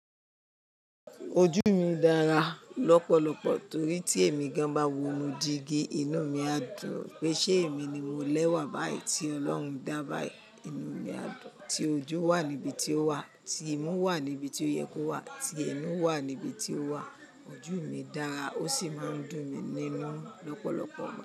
Ojú mi dára lọ́pọ̀lọpọ̀ torí tí èmi gan ba mu jígí, inu mi a dùn pé ṣé èmi ni mo lẹ́wà báyìí tí Ọlọ́run dá báyìí. Inu mi a dùn tí ojú wà níbi tí ó wà, tí imú wà níbi tí ó yẹ kó wà, tí ẹnu wà níbi tí ó wà. Ojú mi dára ó sì máa ń dùn mi nínú lọ́pọ̀lọpọ̀.